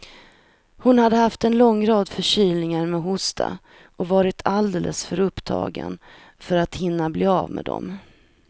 Hon hade haft en lång rad förkylningar med hosta och varit alldeles för upptagen för att hinna bli av med dem.